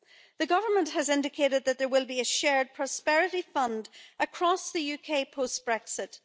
The Government has indicated that there will be a shared prosperity fund across the UK post Brexit.